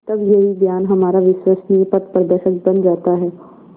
तब यही ज्ञान हमारा विश्वसनीय पथप्रदर्शक बन जाता है